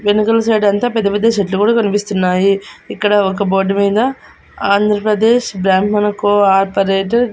వెనకాల సైడ్ అంతా పెద్ద పెద్ద చెట్లు కూడా కనిపిస్తున్నాయి ఇక్కడ ఒక బోర్డు మింద ఆంధ్రప్రదేశ్ బ్రాహ్మణ కోఆపరేటివ్ .